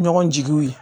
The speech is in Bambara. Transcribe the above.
Ɲɔgɔn jigiw ye